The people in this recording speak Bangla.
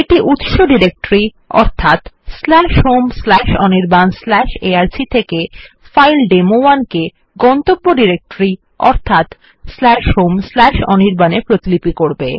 এইটা উত্স ডিরেক্টরি হোম অনির্বাণ arc থেকে ফাইল ডেমো1 কে গন্তব্য ডিরেক্টরি অর্থাৎ হোম অনির্বাণ এ প্রতিপিলি করে